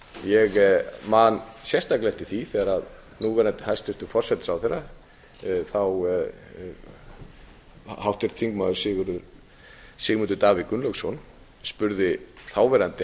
mér ég man sérstaklega eftir því þegar núverandi hæstvirtur forsætisráðherra þá háttvirtur þingmaður sigmundur davíð gunnlaugsson spurði þáverandi